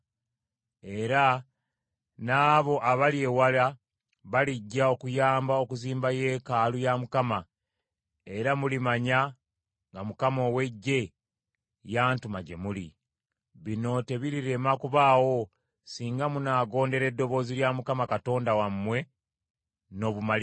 Era n’abo abali ewala balijja okuyamba okuzimba yeekaalu ya Mukama , era mulimanya nga Mukama ow’Eggye yantuma gye muli. Bino tebirirema kubaawo singa munaagondera eddoboozi lya Mukama Katonda wammwe n’obumalirivu.”